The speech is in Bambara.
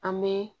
An bɛ